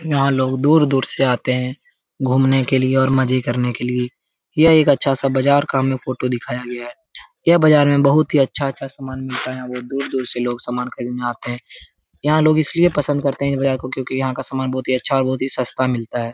यहाँ लोग दूर-दूर से आते है। घुमने के लिए और मजे करने के लिए ये एक अच्छा सा बाजार का हमे फोटो दिखाया गया है। यह बाजार में बहुत ही अच्छा-अच्छा सामन मिलता है। यहाँ दूर-दूर से लोग सामान खरीदने आते है। यहाँ लोग इसलिए पसंद करते है। बाजार को क्यूंकि यहाँ का सामान बहुत ही सस्ता मिलता है।